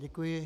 Děkuji.